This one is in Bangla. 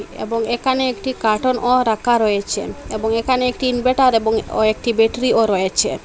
এবং এখানে একটি কার্টন ও রাখা রয়েছে এবং এখানে একটি ইনভার্টার এবং ও একটি ব্যাটারিও রয়েছে।